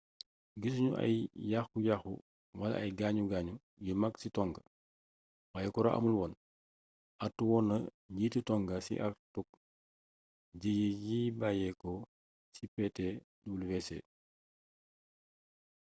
gissugnu ay yaxxu yaxxu wala ay gaañu gaañu yu mag ci tonga wayé kuran amul woon artu woonna njiiti tonga ci artuk jéyee ji bayyéko ci ptwc